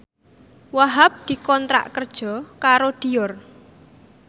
Wahhab dikontrak kerja karo Dior